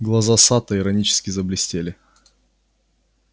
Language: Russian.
глаза сатта иронически заблестели